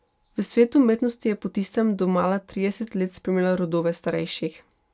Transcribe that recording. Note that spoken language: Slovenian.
V svet umetnosti je po tistem domala trideset let spremljala rodove starejših.